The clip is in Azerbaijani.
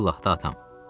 İllah da atam.